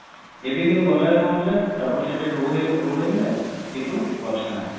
ଏବେ କିନ୍ତୁ ଗଲା ବେଳେ କଣ ହେଲା double side ରେ road ହେଇଗଲା କିନ୍ତୁ ଗଛ ନାହି